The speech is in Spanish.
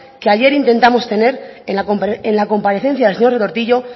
que ayer intentamos tener en la comparecencia del señor retortillo